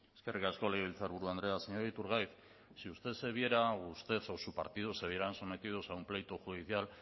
eskerrik asko legebiltzarburu andrea señor iturgaiz si usted se viera o usted o su partido se vieran sometidos a un pleito judicial